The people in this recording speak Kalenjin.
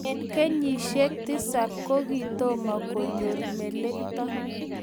Eng kenyisiek tisap kokitomo konyor melekto